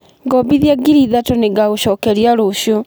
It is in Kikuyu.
Ngombithia ngiri ithatũ nĩngagũcokeria rũciũ.